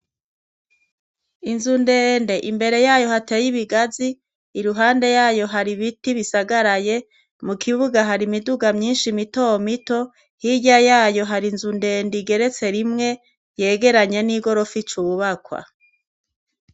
Inzu ndende imbere yayo hateye ibigazi iruhande yayo hari ibiti bisagaraye mu kibuga hari imiduga myinshi mito mito hirya yayo hari inzu ndende igeretse rimwe yegeranye n'igorofa ico ububakwa.